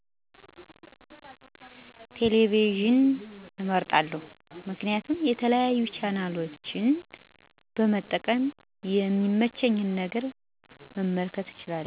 ቴለቪዥን እመርጣለሁ ምክንያቱም የተለያዩ ቻናሎችን በመቀያየር የሚመቸኝን ነገር መመልከት እችላለሁ።